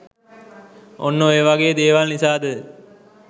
ඔන්න ඔය වගේ දේවල් නිසාද